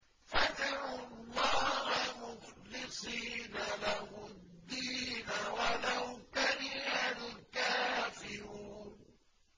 فَادْعُوا اللَّهَ مُخْلِصِينَ لَهُ الدِّينَ وَلَوْ كَرِهَ الْكَافِرُونَ